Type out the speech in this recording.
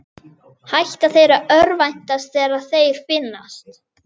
Hætta þeir að örvænta þegar þeir finnast?